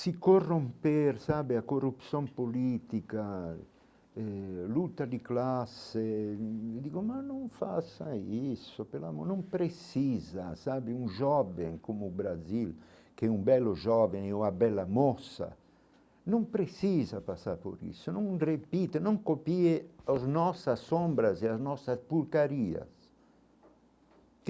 Se corromper, sabe, a corrupção política, eh luta de classe, digo, mas não faça isso, pelo amor, não precisa, sabe, um jovem como o Brasil, que é um belo jovem ou a bela moça, não precisa passar por isso, não repita, não copie as nossas sombras e as nossas.